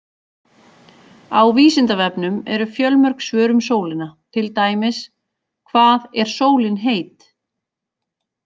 Á Vísindavefnum eru fjölmörg svör um sólina, til dæmis: Hvað er sólin heit?